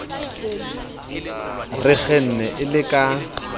re kgenne e le ka